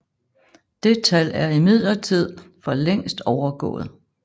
Det tal er imidlertid for længst overgået